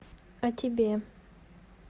а тебе